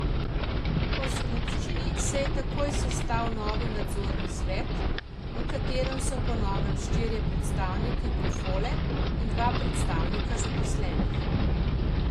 Po skupščini se je takoj sestal novi nadzorni svet, v katerem so po novem štirje predstavniki Kofole in dva predstavnika zaposlenih.